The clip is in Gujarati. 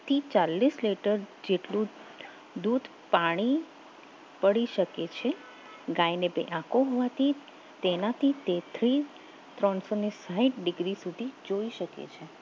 ચાલીસ લીટર જેટલું દૂધ પાણી પડી શકે છે ગાયને બે આંખો હોવાથી તેનાથી તેથી ત્રણસો ને સાહિઠ ડિગ્રી સુધી જોઈ શકે છે